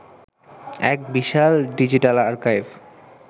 এক বিশাল digital archive